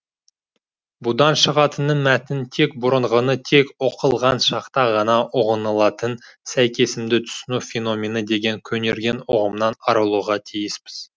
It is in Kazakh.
бұдан шығатыны мәтін тек бұрынғыны тек оқылған шақта ғана ұғынылатын сәйкесімді түсіну феномені деген көнерген ұғымнан арылуға тиіспіз